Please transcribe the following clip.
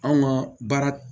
Anw ka baara